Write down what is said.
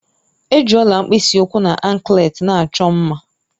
Eji Ọla mkpisi ụkwụ na ankleti na-achọ mma